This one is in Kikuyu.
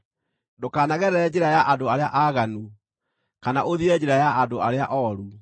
Ndũkanagerere njĩra ya andũ arĩa aaganu, kana ũthiĩre njĩra ya andũ arĩa ooru.